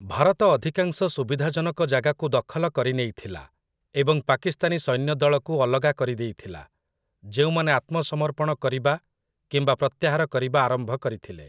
ଭାରତ ଅଧିକାଂଶ ସୁବିଧାଜନକ ଜାଗାକୁ ଦଖଲ କରିନେଇଥିଲା ଏବଂ ପାକିସ୍ତାନୀ ସୈନ୍ୟଦଳକୁ ଅଲଗା କରିଦେଇଥିଲା, ଯେଉଁମାନେ ଆତ୍ମସମର୍ପଣ କରିବା କିମ୍ବା ପ୍ରତ୍ୟାହାର କରିବା ଆରମ୍ଭ କରିଥିଲେ ।